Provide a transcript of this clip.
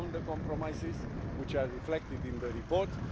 We found the compromises, which are reflected in the report.